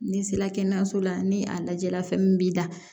N'i sera kɛnɛyaso la ni a lajɛ la fɛn min b'i la